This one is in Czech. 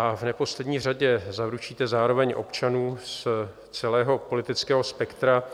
A v neposlední řadě, zaručíte zároveň občanům z celého politického spektra,